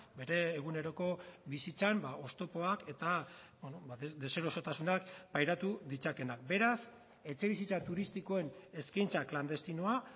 bere eguneroko bizitzan oztopoak eta deserosotasunak pairatu ditzakeenak beraz etxebizitza turistikoen eskaintza klandestinoa